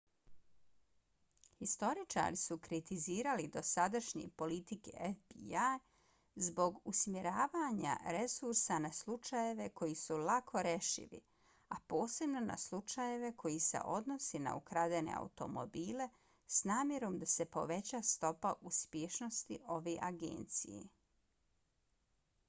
historičari su kritizirali dosadašnje politike fbi-ja zbog usmjeravanja resursa na slučajeve koji su lako rešivi a posebno na slučajeve koji se odnose na ukradene automobile s namjerom da se poveća stopa uspješnosti ove agencije